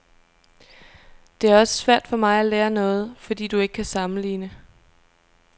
Det er også svært for mig at lære noget, fordi du ikke kan sammenligne.